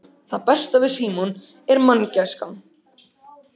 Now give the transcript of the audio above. Það besta við Símon er manngæskan.